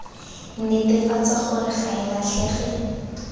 netefatsa gore ga e latlhege